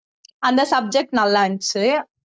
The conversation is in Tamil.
அந்த subject நல்லா இருந்துச்சு